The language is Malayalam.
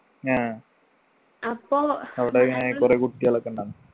ആഹ് അവിടെ എങ്ങനെ കൊറേ കുട്ടികളൊക്കെ ഉണ്ടാ